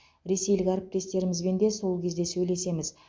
ресейлік әріптестерімізбен де сол кезде сөйлесеміз